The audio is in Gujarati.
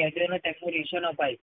કેદીઓને તેમપોરિશન અપાયું.